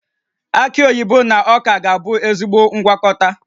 Aki oyibo na ọka ga-abụ ezigbo ngwakọta